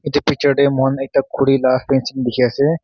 etu picture teh moikhan ekta khuri lah fancing dikhi ase.